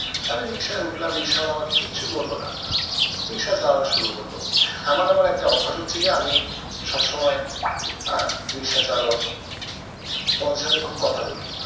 আমি রিক্সায় উঠলাম রিক্সাওয়ালা আমাকে কিচ্ছু বললো না। রিক্সা চালানো শুরু করলো। আমার আবার একটা অভ্যাস হচ্ছে গিয়ে আমি সব সময় আহ রিক্সা চালক ওনাদের সাথে খুব কথা বলি।